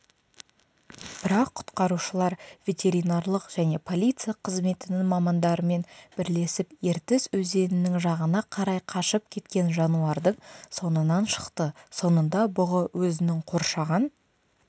бірақ құтқарушылар ветеринарлық және полиция қызметінің мамандарымен бірлесіп ертіс өзенінің жағына қарай қашып кеткен жануардың соңынан шықты соңында бұғы өзінің қоршаған